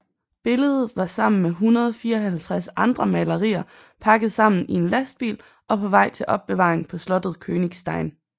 Billede var sammen med 154 andre malerier pakket sammen i en lastbil og på vej til opbevaring på slottet Königstein